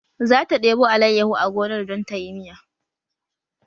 Zata debo alayyahu a gonar don ta yi miya